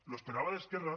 lo esperaba de esquerra